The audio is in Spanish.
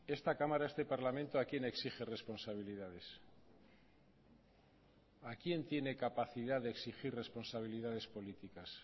esta cámara este parlamento a quién exige responsabilidades a quién tiene capacidad de exigir responsabilidades políticas